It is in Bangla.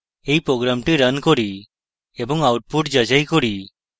এই program রান করি এবং output যাচাই করি